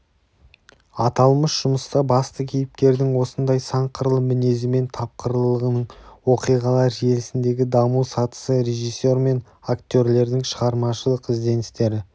аталмыш жұмыста басты кейіпкердің осындай сан қырлы мінезі мен тапқырлылығының оқиғалар желісіндегі даму сатысы режиссер мен актерлердің шығармашылық ізденістері